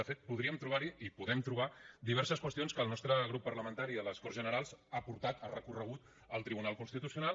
de fet podríem trobar hi i podem trobar diverses qüestions que el nostre grup parlamentari a les corts generals ha portat ha recorregut al tribunal constitucional